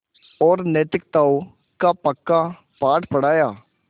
और नैतिकताओं का पक्का पाठ पढ़ाया